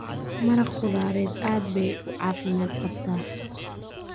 Maraq khudradeed aad bay u caafimaad qabtaa.